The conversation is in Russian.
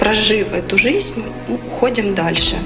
прожив эту жизнь уходим дальше